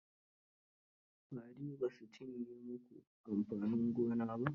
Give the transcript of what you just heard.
Fari ba su cinye mu ku amfanin gona ba?